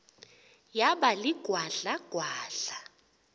yaba ligwadla gwadla